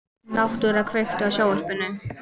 Náttúra, kveiktu á sjónvarpinu.